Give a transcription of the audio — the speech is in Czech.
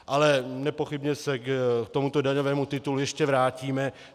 Ale nepochybně se k tomuto daňovému titulu ještě vrátíme.